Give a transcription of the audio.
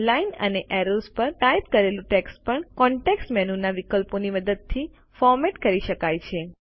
line અને arrows પર type કરેલું ટેક્સ્ટ પણ કોન્ટેક્ષ મેનુના વિકલ્પોની મદદથી ફોર્મેટ કરી શકાય છે